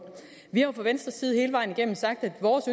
vi har jo fra venstres side hele vejen igennem sagt at vores